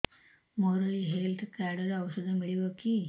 ମୋର ଏଇ health card ରେ ଔଷଧ ମିଳିବ କି